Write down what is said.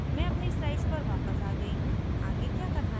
मैं अपनी slide वापस आ गयी हूँ आगे क्या करना है